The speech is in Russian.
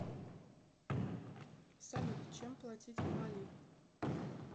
салют чем платить в мали